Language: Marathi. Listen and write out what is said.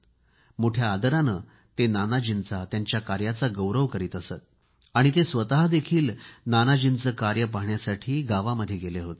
मोठ्या आदराने ते नानाजींचा त्यांीच्याय कामाचा उल्लेख करीत असत आणि ते स्वतःसुद्धा नानाजींचे कार्य पाहण्यासाठी गावांमध्ये गेले होते